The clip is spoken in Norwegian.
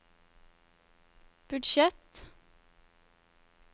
budsjett